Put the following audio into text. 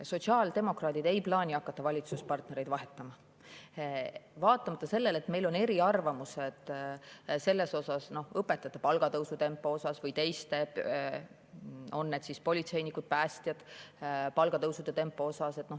Sotsiaaldemokraadid ei plaani hakata valitsuspartnereid vahetama, vaatamata sellele, et meil on eriarvamusi õpetajate palga tõusu tempo kohta või teiste, on need siis politseinikud või päästjad, palga tõusu tempo kohta.